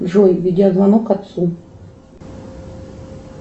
джой видеозвонок отцу